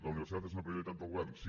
la universitat és una prioritat del govern sí